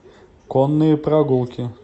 конные прогулки